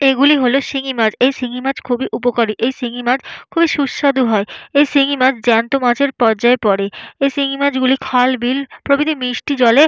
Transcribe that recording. এগুলি হলো শিঙি মাছ এই শিঙি মাছ খুবই উপকারী এই শিঙি মাছ খুবই সুস্বাদু হয় এই শিঙি মাছ জ্যান্ত মাছের পর্যায়ে পরে এই শিঙি মাছ গুলি খাল বিল প্রভৃতি মিষ্টি জলে --